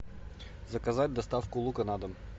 заказать доставку лука на дом